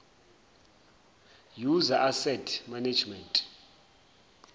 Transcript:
user asset management